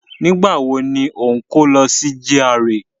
Nígbà wo ni o ń kó lọ sí GRA?